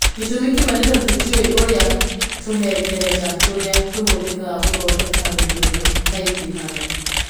Gĩtũmi kĩmwe nĩ tondũ tũtiũĩ ũrĩa tũhengereta tũrĩa tũhũthĩkaga gũthondeka rũthiomi kaingĩhaga.